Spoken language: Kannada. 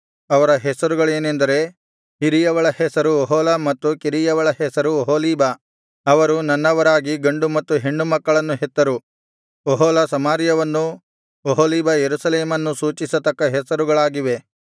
ಅವರ ಹೆಸರುಗಳೇನೆಂದರೆ ಹಿರಿಯವಳ ಹೆಸರು ಒಹೊಲ ಮತ್ತು ಕಿರಿಯವಳ ಹೆಸರು ಒಹೊಲೀಬ ಅವರು ನನ್ನವರಾಗಿ ಗಂಡು ಮತ್ತು ಹೆಣ್ಣು ಮಕ್ಕಳನ್ನು ಹೆತ್ತರು ಒಹೊಲ ಸಮಾರ್ಯವನ್ನೂ ಒಹೊಲೀಬ ಯೆರೂಸಲೇಮನ್ನೂ ಸೂಚಿಸತಕ್ಕ ಹೆಸರುಗಳಾಗಿವೆ